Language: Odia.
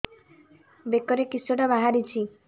ବେକରେ କିଶଟା ବାହାରିଛି